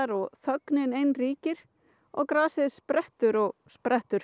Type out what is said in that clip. og þögnin ein ríkir og grasið sprettur og sprettur